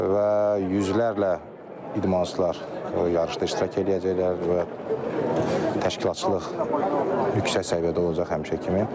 Və yüzlərlə idmançılar yarışda iştirak eləyəcəklər və təşkilatçılıq yüksək səviyyədə olacaq həmişəki kimi.